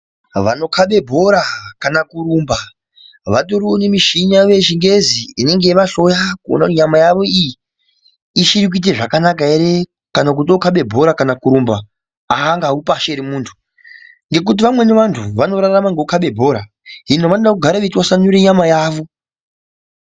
Vanokhabe bhora kana kurumba vatoriwo nemishini yavo yechingezi inenge yeivahloya kuti nyama yavo iyi ichiri kuite zvakanaka ere vokhabe bhora kana kurumba aangawi pashi ere muntu ngekuti vamweni vantu vanotorarama ngekukhabe bhora hino vanode kugare veitwasanura nyama yavo.